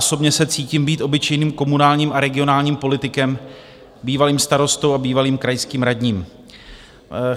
Osobně se cítím být obyčejným komunálním a regionálním politikem, bývalým starostou a bývalým krajským radním.